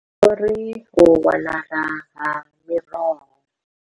Vho ri, U wanala ha miroho.